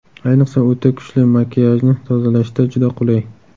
Ayniqsa, o‘ta kuchli makiyajni tozalashda juda qulay.